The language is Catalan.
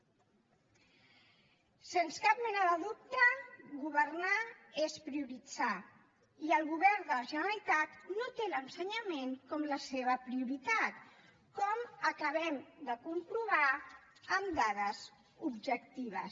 sens cap mena de dubte governar és prioritzar i el govern de la generalitat no té l’ensenyament com la seva prioritat com acabem de comprovar amb dades objectives